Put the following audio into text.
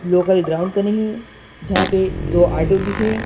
Local ground का नहीं है जहाँ पे दो ऑटो भी है।